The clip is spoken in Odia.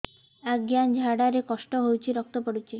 ଅଜ୍ଞା ଝାଡା ରେ କଷ୍ଟ ହଉଚି ରକ୍ତ ପଡୁଛି